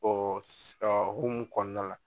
Bɔn ɔ hukumu kɔnɔna la